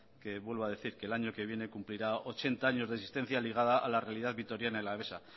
que vuelvo a decir que el año que viene cumplirá ochenta años de existencia ligada a la realidad vitoriana y alavesa